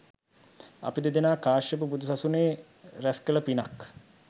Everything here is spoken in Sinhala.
අපි දෙදෙනා කාශ්‍යප බුදු සසුනේ රැස් කළ පිනක්